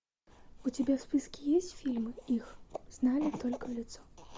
у тебя в списке есть фильм их знали только в лицо